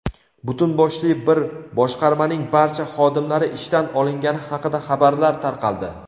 butun boshli bir boshqarmaning barcha xodimlari ishdan olingani haqida xabarlar tarqaldi.